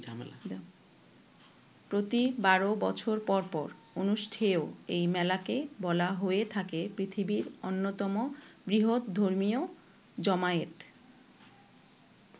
প্রতি বারো বছর পর পর অনুষ্ঠেয় এই মেলাকে বলা হয়ে থাকে পৃথিবীর অন্যতম বৃহৎ ধর্মীয় জমায়েত।